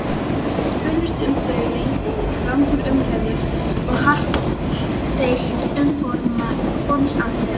Spunnust um þau langar umræður og hart deilt um formsatriði.